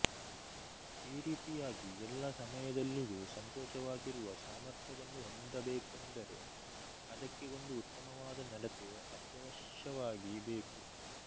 ಈ ರೀತಿಯಾಗಿ ಎಲ್ಲ ಸಮಯದಲ್ಲಿಯೂ ಸಂತೋಷವಾಗಿರುವ ಸಾಮರ್ಥ್ಯವನ್ನು ಹೊಂದಬೇಕೆಂದರೆ ಅದಕ್ಕೆ ಒಂದು ಉತ್ತಮವಾದ ನಡತೆ ಅತ್ಯವಶ್ಯವಾಗಿ ಬೇಕು